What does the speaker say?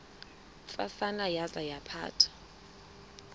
ntsasana yaza yaphatha